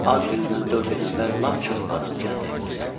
Ad günümdən dörd gün əvvəl lap çox adam gəldi evimizə.